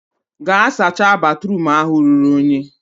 gaa sacha batruum ahụ ruru unyi!